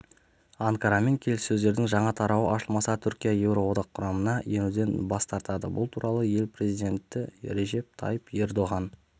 анкарамен келіссөздердің жаңа тарауы ашылмаса түркия еуроодаққұрамына енуден бас тартады бұл туралы ел президентірежеп тайип ердоған